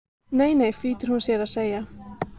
Nei, nei flýtir hún sér að segja.